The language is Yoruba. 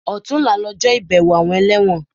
Ọ̀túnla lọjọ́ ìbẹ̀wọ̀ àwọn ẹlẹ́wọ̀n